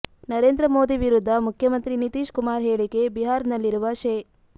ನರೇಂದ್ರ ಮೋದಿ ವಿರುದ್ಧ ಮುಖ್ಯಮಂತ್ರಿ ನಿತೀಶ್ ಕುಮಾರ್ ಹೇಳಿಕೆ ಬಿಹಾರ್ನಲ್ಲಿರುವ ಶೇ